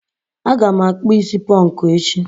Aga m akpụ is ponku echi.